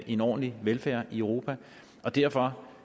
en ordentlig velfærd i europa derfor